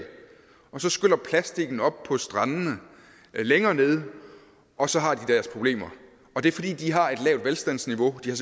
og så skyller plastikken op på strandene længere nede og så har de deres problemer og det er fordi de har et lavt velstandsniveau de har